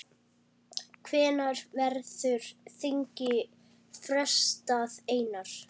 Hvenær verður þingi frestað, Einar?